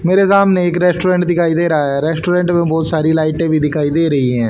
मेरे सामने एक रेस्टोरेंट दिखाई दे रहा है रेस्टोरेंट में बहोत सारी लाइटें भी दिखाई दे रही हैं।